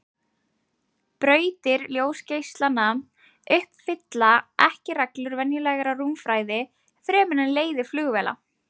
Brautir ljósgeislanna uppfylla ekki reglur venjulegrar rúmfræði fremur en leiðir flugvéla.